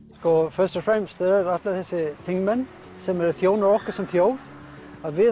og fremst allir þessir þingmenn sem þjóna okkur sem þjóð við